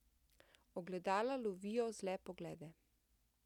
Ogledala lovijo zle poglede.